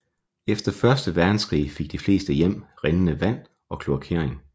Efter første verdenskrig fik de fleste hjem rindende vand og kloakering